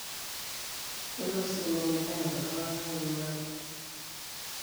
kelo sii ninye neyaki iltunganak eming'ano